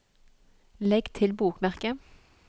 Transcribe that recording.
legg til bokmerke